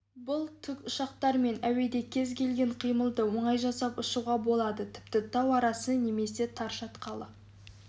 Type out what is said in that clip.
бұл тікұшақтармен әуеде кез келген қимылды оңай жасап ұшуға болады тіпті тау арасы немесе тар шатқалда